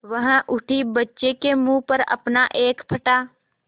वह उठी बच्चे के मुँह पर अपना एक फटा